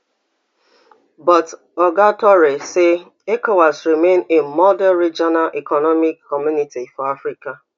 but oga touray say ecowas remain a model regional economic community for africa